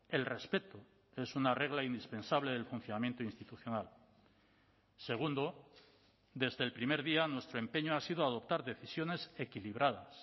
el respeto es una regla indispensable del funcionamiento institucional segundo desde el primer día nuestro empeño ha sido adoptar decisiones equilibradas